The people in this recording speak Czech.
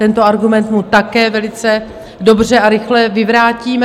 Tento argument mu také velice dobře a rychle vyvrátíme.